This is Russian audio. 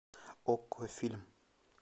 окко фильм